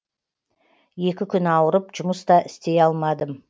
екі күн ауырып жұмыс та істей алмадым